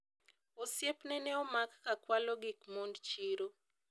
osiepne ne omak ka kwalo gik mond chiro